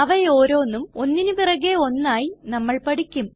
അവയോരോന്നും ഒന്നിന് പിറകെ ഒന്നായി നമ്മൾ പഠിക്കും